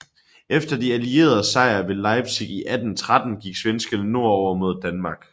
Efter de allieredes sejr ved Leipzig i 1813 gik svenskerne nordover mod Danmark